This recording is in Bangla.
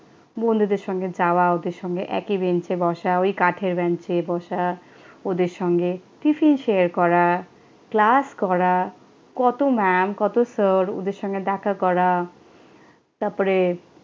বন্ধুদের সঙ্গে যাওয়া, ওদের সঙ্গে একই বেঞ্চে বসা, ওই কাঠের বেঞ্চে বসা, ওদের সঙ্গে টিফিন শেয়ার করা, ক্লাস করা, কত ম্যাম, কত স্যার, ওদের সঙ্গে দেখা করা। তারপরে